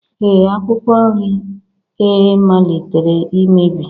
Ee Akwụkwọ nri e malitere imebi